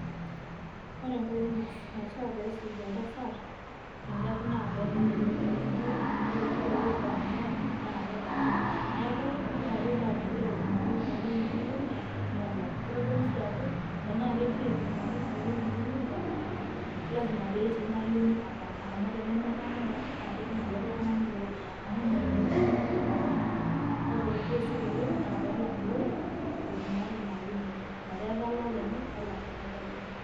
Ore enkoitoi naishiaa pesuj oltasat tengari naa pelak olorika amu ore kila olorika tengari naa kelaki neaku ore ake paa kegira aibungaki enkayioni enye olorika nelak. Kitodolu sii ajo tenaa kegira aibungaki enkayioni enye olorika, lazima petii inaayioni ataana amu tenemetaana naa kejing olikae tungani ilo orika amu meanyu naa engari oltungani olakwa ore duo isul oleng naa pelak ilo orika loibungaka inaa ayioni enye , metaa etalaa olenye , nelak olenkayioni enye.